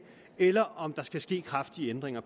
eller om der skal ske kraftige ændringer